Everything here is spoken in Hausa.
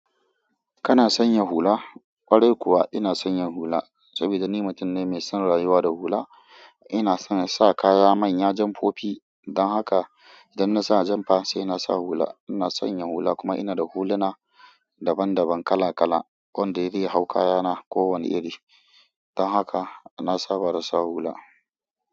Kana sanya hula? Kwarai kuwa ina sanya hula saboda ni mutum ne mai son rayuwa da hula. Ina son nasa kaya manya jan fofi. Don haka idan na sa janfa saina sa hula. Ina sanya hula kuma ina da huluna daban daban kala kala, wanda yake hau kayana ko wane iri. Don haka na saba da sa hula.